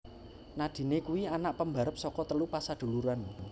Nadine kuwi anak pembarep saka telu pasaduluran